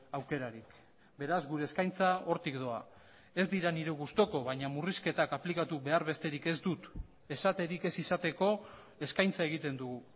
aukerarik beraz gure eskaintza hortik doa ez dira nire gustuko baina murrizketak aplikatu behar besterik ez dut esaterik ez izateko eskaintza egiten dugu